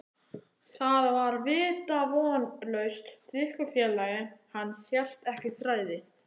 Það var vitavonlaust, drykkjufélagi hans hélt ekki þræði.